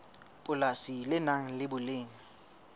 polasi le nang le boleng